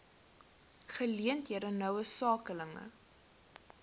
geleenthede noue skakeling